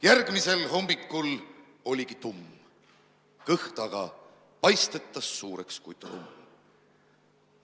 Järgmisel hommikul oligi tumm, kõht aga paistetas suureks kui trumm.